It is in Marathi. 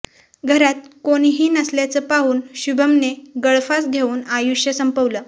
घरात कोणीही नसल्याचं पाहून शुभमने गळफास घेऊन आयुष्य संपवलं